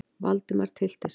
Valdimar tyllti sér.